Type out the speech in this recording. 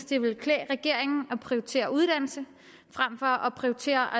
det ville klæde regeringen at prioritere uddannelse frem for at prioritere